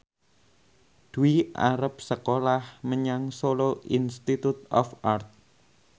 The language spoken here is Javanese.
Dwi arep sekolah menyang Solo Institute of Art